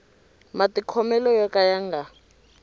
matikhomelo yo ka ya nga